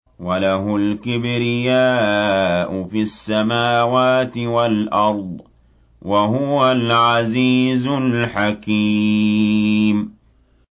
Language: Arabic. وَلَهُ الْكِبْرِيَاءُ فِي السَّمَاوَاتِ وَالْأَرْضِ ۖ وَهُوَ الْعَزِيزُ الْحَكِيمُ